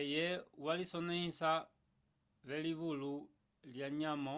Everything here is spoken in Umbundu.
eye walisonehisa vo livulo ya myamo